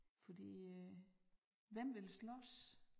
Fordi øh hvem vil slås